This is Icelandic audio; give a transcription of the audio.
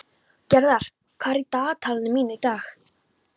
Gerðar, hvað er í dagatalinu mínu í dag?